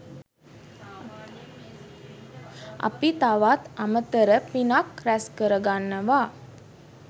අපි තවත් අමතර පිනක් රැස් කරගන්නවා.